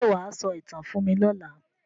Ṣé wà á sọ ìtàn fún mí lọla?